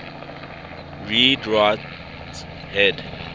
read write head